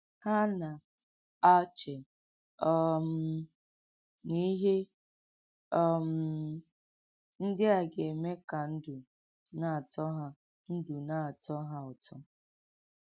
Hà nà-àchè um nà íhè um ǹdí à gà-èmè kà ndú nà-àtọ̀ hà ndú nà-àtọ̀ hà ụ̀tọ́.